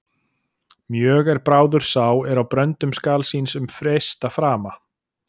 Mjög er bráður sá er á bröndum skal síns um freista frama.